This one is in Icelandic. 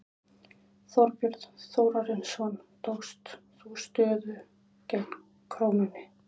Þorbjörn Þórðarson: Tókst þú stöðu gegn krónunni?